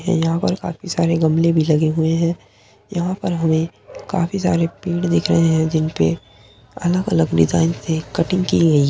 यहाँ पर काफी सारे गमले भी लगे हुए हैं। यहाँ पर हमें काफी सारे पेड़ दिख रहे हैं। जिनपे अलग-अलग डिजाइन से कटिंग की गई है।